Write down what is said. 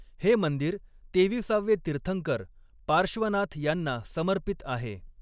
हे मंदिर तेविसावे तीर्थंकर पार्श्वनाथ यांना समर्पित आहे.